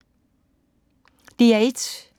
DR1